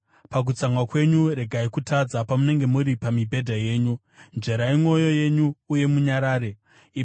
Pakutsamwa kwenyu, regai kutadza; pamunenge muri pamibhedha yenyu, nzverai mwoyo yenyu uye munyarare. Sera